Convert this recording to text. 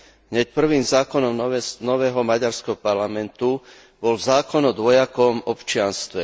Hneď prvým zákonom nového maďarského parlamentu bol zákon o dvojakom občianstve.